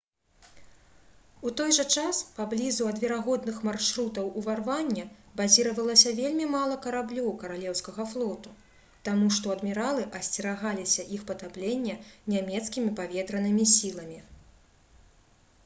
у той жа час паблізу ад верагодных маршрутаў уварвання базіравалася вельмі мала караблёў каралеўскага флоту таму што адміралы асцерагаліся іх патаплення нямецкімі паветранымі сіламі